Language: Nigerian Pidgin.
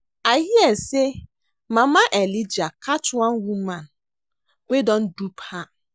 I hear say mama Elijah catch one woman wey wan dupe her